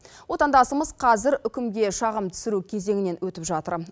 отандасымыз қазір үкімге шағым түсіру кезеңінен өтіп жатыр